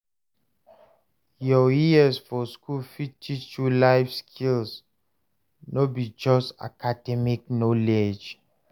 Your years for school fit teach you life skills, no be just academic knowledge.